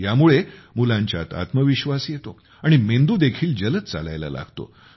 ह्यामुळे मुलांच्यात आत्मविश्वास येतो आणि मेंदू देखील जलद चालायला लागतो